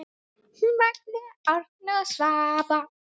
Magnea, Árni og Svava.